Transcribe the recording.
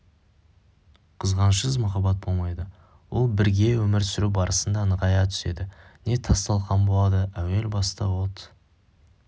қызғанышсыз махаббат болмайды ол бірге өмір сүру барысында нығая түседі не тас-талқан болады әуел баста от